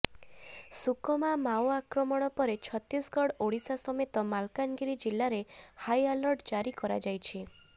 ସୁକମା ମାଓଆକ୍ରମଣ ପରେ ଛତିଶଗଡ଼ ଓଡ଼ିଶା ସମେତ ମାଲକାନଗିରି ଜିଲ୍ଲାରେ ହାଇଆଲର୍ଟ ଜାରି କରାଯାଇଛି